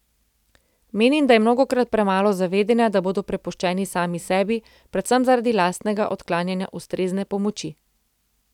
Menim, da je mnogokrat premalo zavedanja, da bodo prepuščeni sami sebi predvsem zaradi lastnega odklanjanja ustrezne pomoči.